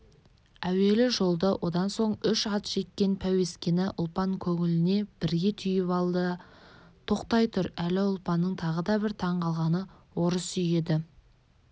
әуелі жолды одан соң үш ат жеккен пәуескені ұлпан көңіліне бірге түйіп алды тоқтай тұр әлі ұлпанның тағы бір таң қалғаны орыс үйі еді